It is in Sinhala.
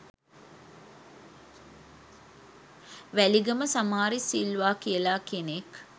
වැලිගම සමාරිස් සිල්වා කියලා කෙනෙක්